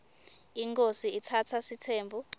inkhosi itsatsa sitsembu